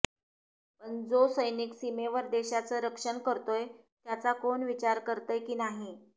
पण जो सैनिक सीमेवर देशाचं रक्षण करतोय त्याचा कोण विचार करतंय की नाही